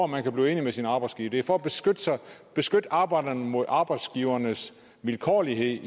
man kan blive enig med sin arbejdsgiver det er for at beskytte arbejderne mod arbejdsgivernes vilkårlighed